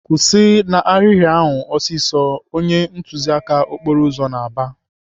"Kwụsị n'ahịrị ahụ ọsịsọ!" Onye ntụziaka okporo ụzọ na-aba.